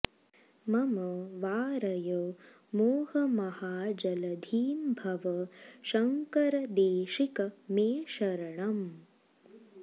मम वारय मोहमहाजलधिं भव शंकर देशिक मे शरणम्